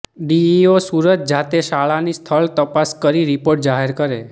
DEO Surat જાતે શાળાની સ્થળ તપાસ કરી રિપોર્ટ જાહેર કરે